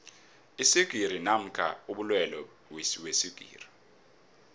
iswigiri namkha amalwelwe weswigiri